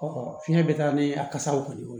fiɲɛ bɛ taa ni a kasaraw kɔni ye